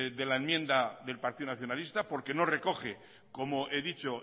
de la enmienda del partido nacionalista porque no recoge comohe dicho